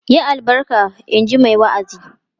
"Yi albarka!" in ji mai wa'azin.